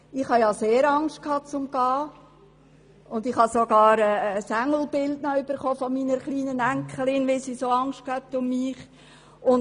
Ich hatte sehr Angst, nach Eritrea zu reisen und erhielt sogar ein Engelbild von meiner kleinen Enkelin, weil sie Angst um mich hatte.